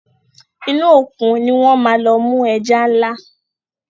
inú Òkun ní wón má lọ mú ẹja nla.